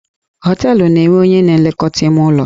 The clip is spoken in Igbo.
Họteelụ na-enwe onye na elekọta ime ụlọ.